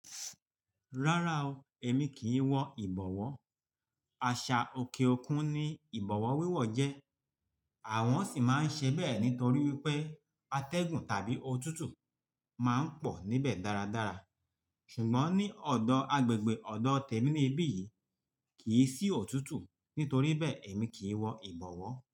Rárá o, èmi kì í wọ ìbọ̀wọ́. Àṣà òkè òkun ni ìbọ̀wọ́ wíwọ̀ jẹ́. Àwọn sì máa ń ṣẹ bẹ́ẹ̀ nítorí wípé atẹ́gùn tàbí òtútù máa ń pọ̀ níbẹ̀ dáradára. Ṣùgbọ́n ní ọ̀dọ̀ agbègbè ọ̀dọ̀ tèmi ní ibí yìí kì í sí òtútù nítorí bẹ́ẹ̀ èmi kì í wọ ìbọ̀wọ́